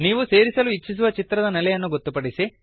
ನೀವು ಸೇರಿಸಲು ಇಚ್ಛಿಸುವ ಚಿತ್ರದ ನೆಲೆಯನ್ನು ಗೊತ್ತುಪಡಿಸಿ